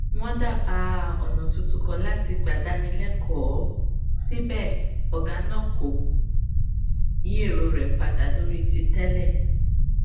wón dábàá ònà tuntun kan láti gbà dáni lékòó síbẹ ògá náà kò yí èrò rè padà lórí ti tẹlẹ